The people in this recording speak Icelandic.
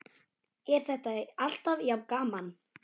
Er þetta alltaf jafn gaman?